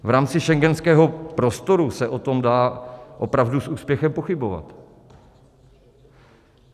V rámci schengenského prostoru se o tom dá opravdu s úspěchem pochybovat.